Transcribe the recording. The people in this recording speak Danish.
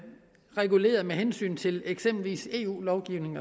hensyn til eksempelvis eu lovgivning